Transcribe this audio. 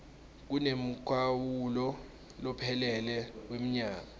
kunemkhawulo lophelele wemnyaka